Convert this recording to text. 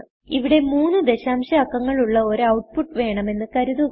ഇവിടെ മൂന്ന് ദശാംശ അക്കങ്ങൾ ഉള്ള ഒരു ഔട്ട്പുട്ട് വേണമെന്ന് കരുതുക